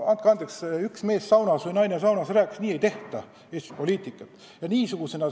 Andke andeks, üks mees saunas või naine saunas rääkis – nii ei tehta Eestis poliitikat!